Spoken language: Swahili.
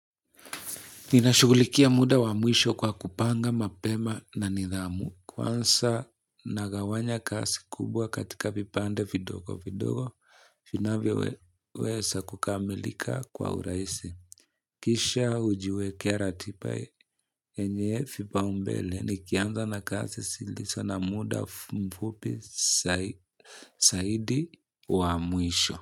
Ninashughulikia muda wa mwisho kwa kupanga mapema na nidhamu. Kwanza nagawanya kazi kubwa katika vipande vidogo vidogo. Vinavyoweza kukamilika kwa urahisi. Kisha hujiwekea ratiba yenye vipaumbele nikianza na kazi zilizo na muda mfupi zaidi wa mwisho.